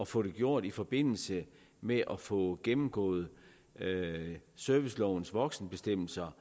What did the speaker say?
få det gjort i forbindelse med at få gennemgået servicelovens voksenbestemmelser